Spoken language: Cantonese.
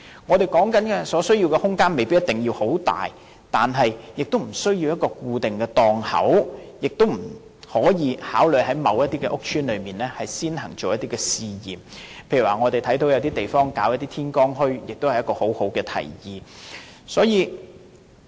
我們說的空間，不一定要很大，亦不需要有固定的檔口，也可以在某些屋邨先行試驗，例如我們看到有些地方舉辦天光墟，這也是十分好的提議。